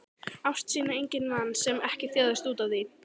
Ást sína enginn vann sem ekki þjáðist útaf því.